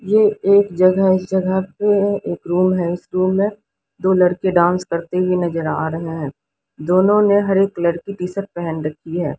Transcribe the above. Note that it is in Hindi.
ये एक जगह है इस जगह पे एक रूम है इस रूम में दो लड़के डांस करते हुए नजर आ रहे हैं दोनों ने हरे कलर टी शर्ट पहन रखी है।